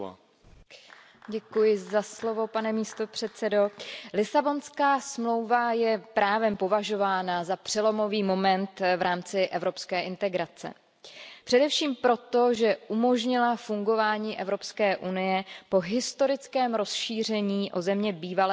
Pane předsedající, Lisabonská smlouva je právem považována za přelomový moment v rámci evropské integrace. Především proto, že umožnila fungování EU po historickém rozšíření o země bývalého východního bloku v roce